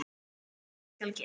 En hvað skal gera?